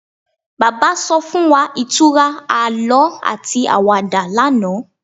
Bàbá so fún wa ìtura àlọ ati àwàdà lánàá